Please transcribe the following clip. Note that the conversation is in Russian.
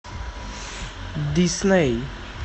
дисней